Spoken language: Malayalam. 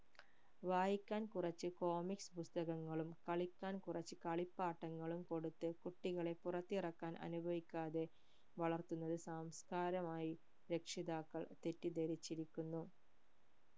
വായിക്കാൻ കുറച് comics പുസ്തകങ്ങളും കളിക്കാൻ കുറച് കളിപ്പാട്ടങ്ങളും കൊടുത്ത് കുട്ടികളെ പുറത്തിറക്കാൻ അനുവദിക്കാതെ വളർത്തുന്നത് സംസ്കാരമായി രക്ഷിതാക്കൾ തെറ്റിദ്ധരിച്ചിരിക്കുന്നു